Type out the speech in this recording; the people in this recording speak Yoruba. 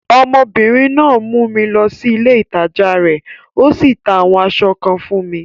Ọmọbìnrin náà mú mi lọ sí ilé ìtajà rẹ̀, o sì ta àwọn aṣọ kan fún mi.